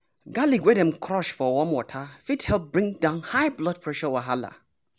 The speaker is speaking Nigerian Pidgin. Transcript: garlic wey dem crush for warm water fit help bring down high blood pressure wahala.